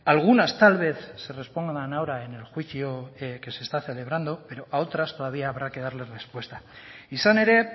algunas tal vez se respondan ahora en el juicio que se está celebrando pero a otras todavía habrá que darles respuesta izan ere